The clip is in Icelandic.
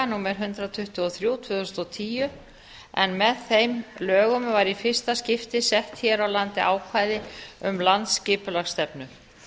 númer hundrað tuttugu og þrjú tvö þúsund og tíu en með ein lögum var í fyrsta skipti sett hér á landi ákvæði um landsskipulagsstefnu